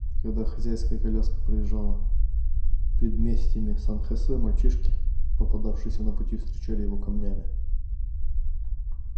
когда хозяйская коляска проезжала предместьями сан хосе мальчишки попадавшиеся на пути встречали его камнями